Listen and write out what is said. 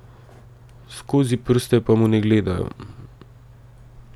Skozi prste pa mu ne gledajo.